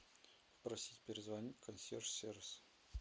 попросите перезвонить консьерж сервис